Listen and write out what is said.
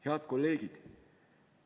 Head kolleegid!